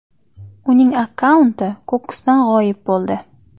Uning akkaunti qo‘qqisdan g‘oyib bo‘ldi.